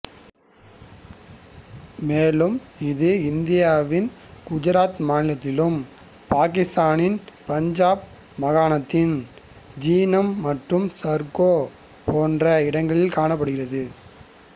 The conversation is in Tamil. மேலும் இது இந்தியாவின் குஜராத் மாநிலத்திலும் பாக்கித்தானின் பஞ்சாப் மாகாணத்தின் ஜீலம் மற்றும் சர்கோதா போன்ற இடங்களில் காணபபடுகிறது